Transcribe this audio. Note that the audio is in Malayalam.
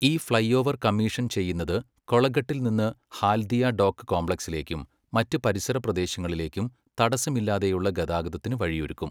ഈ ഫ്ലൈഓവർ കമ്മീഷൻ ചെയ്യുന്നത് കൊളഗട്ടിൽ നിന്ന് ഹാൽദിയ ഡോക്ക് കോംപ്ലക്സിലേക്കും മറ്റ് പരിസര പ്രദേശങ്ങളിലേക്കും തടസമില്ലാതെയുള്ള ഗതാഗതത്തിന് വഴിയൊരുക്കും.